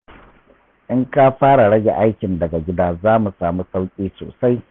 In ka fara rage aikin daga gida za mu sami sauƙi sosai.